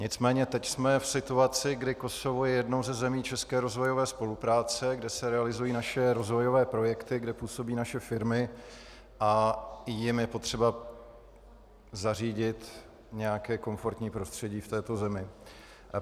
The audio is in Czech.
Nicméně teď jsme v situaci, kdy Kosovo je jednou ze zemí české rozvojové spolupráce, kde se realizují naše rozvojové projekty, kde působí naše firmy, a jim je potřeba zařídit nějaké komfortní prostředí v této zemi.